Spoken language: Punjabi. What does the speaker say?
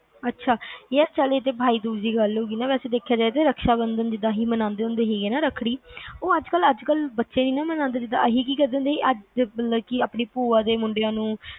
ਅੱਛਾ ਚਲ ਇਹ ਤਾ ਬਾਈ ਦੂਜ ਦੀ ਗੱਲ ਹੋਗੀ ਨਾ ਏਹੇ ਸਾਡੇ ਇੱਥੇ ਰਕਸ਼ਾ ਬੰਧਨ ਵੀ ਏਦਾ ਈ ਮਨਾਂਦੇ ਹੁੰਦੇ ਆ ਨਾ ਜਿਵੇ ਰੱਖੜੀ ਉਹ ਅੱਜ ਕੱਲ ਬਚੇ ਨੀ ਨਾ ਮਨਾਂਦੇ ਜਿਵੇ ਅਸੀਂ ਕਿ ਕਰਦੇ ਸੀ ਆਪਣੀ ਭੂਆ ਦੇ ਮੁੰਡਿਆਂ ਨੂੰ